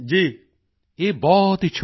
ਇਹ ਬਹੁਤ ਹੀ ਛੂਹਣ ਵਾਲੀ ਹੈ